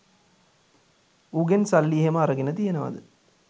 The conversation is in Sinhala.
උගෙන් සල්ලි එහෙම අරගෙන තියෙනවද?